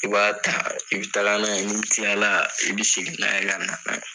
I b'a ta, i bi taga n'a ye ni kilala i bi segin n'a ye ka na n'a ye.